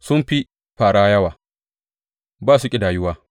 Sun fi fāra yawa, ba su ƙidayuwa.